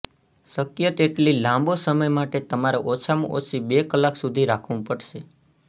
શક્ય તેટલી લાંબો સમય માટે તમારે ઓછામાં ઓછી બે કલાક સુધી રાખવું પડશે